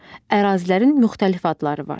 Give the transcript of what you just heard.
Ərazilərin müxtəlif adları var.